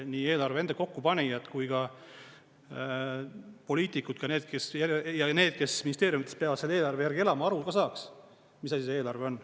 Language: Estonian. Nii eelarve kokkupanijad kui ka poliitikud ja need, kes ministeeriumides peavad selle eelarve järgi elama, aru ka saaks, mis asi see eelarve on.